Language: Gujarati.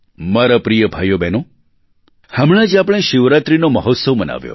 મારા પ્રિય ભાઈઓબહેનો હમણાં જ આપણે શિવરાત્રિનો મહોત્સવ મનાવ્યો